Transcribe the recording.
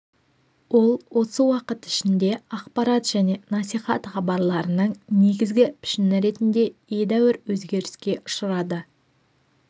ол осы уақыт ішінде ақпарат және насихат хабарларының негізгі пішіні ретінде едәуір өзгеріске ұшырады